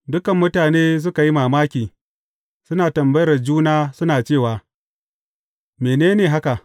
Dukan mutane suka yi mamaki, suna tambayar juna suna cewa, Mene ne haka?